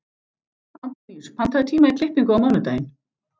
Antóníus, pantaðu tíma í klippingu á mánudaginn.